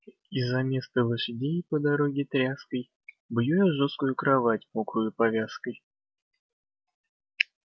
и заместо лошадей по дороге тряской бью я жёсткую кровать мокрою повязкой